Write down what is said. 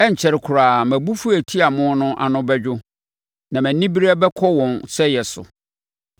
Ɛrenkyɛre koraa mʼabufuo a ɛtia mo no ano bɛdwo na mʼaniberɛ bɛkɔ wɔn sɛeɛ so.”